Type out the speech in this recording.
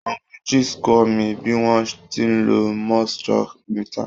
Uncle Jix kọ́ mi bí wọ́n ti ń lo moisture meter.